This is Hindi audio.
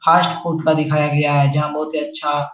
फास्ट फूड का दिखाया गया है जहाँ बहोत ही अच्छा --